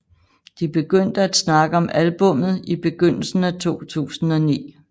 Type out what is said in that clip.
De begyndte at snakke om albummet i begyndelsen af 2009